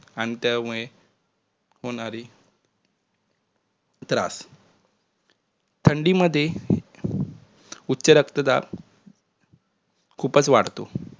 आणि त्यामुळे होणारे त्रास थंडीमध्ये उच्च रक्तदाब खुपचं वाढतो